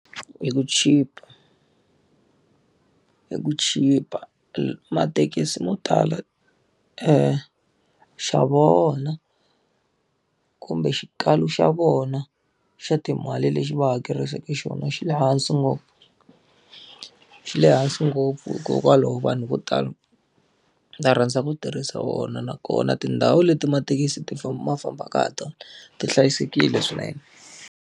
Hi ku chipa. Hi ku chipa mathekisi mo tala nxavo wa vona kumbe xikalo xa vona xa timali lexi va hakerisaka xona xi le hansi ngopfu. Xi le hansi ngopfu hikokwalaho vanhu vo tala va rhandza ku tirhisa wona nakona tindhawu leti mathekisi ti ma fambaka hi tona, ti hlayisekile swinene.